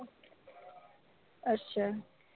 ਅੱਛਾ